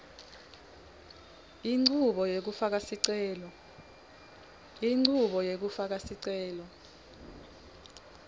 inchubo yekufaka sicelo